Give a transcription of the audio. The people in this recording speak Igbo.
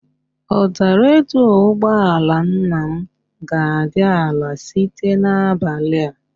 Ụda redio ụgbọala nna m ga-adị ala site n'abalị a